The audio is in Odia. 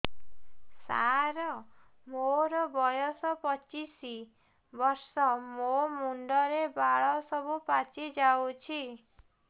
ସାର ମୋର ବୟସ ପଚିଶି ବର୍ଷ ମୋ ମୁଣ୍ଡରେ ବାଳ ସବୁ ପାଚି ଯାଉଛି